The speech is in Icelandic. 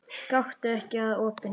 Gakktu ekki að opinu.